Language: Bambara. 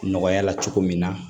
Nɔgɔya la cogo min na